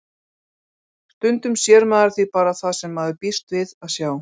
Stundum sér maður því bara það sem maður býst við að sjá.